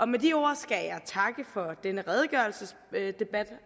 med de ord skal jeg takke for denne redegørelsesdebat